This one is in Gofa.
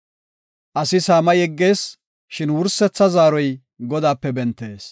Asi saama yeggees; shin wursetha zaaroy Godaape bentees.